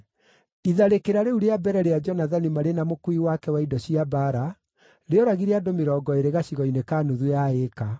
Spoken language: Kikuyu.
Itharĩkĩra rĩu rĩa mbere rĩa Jonathani marĩ na mũkuui wake wa indo cia mbaara rĩoragire andũ mĩrongo ĩĩrĩ gacigo-inĩ ka nuthu ya ĩka.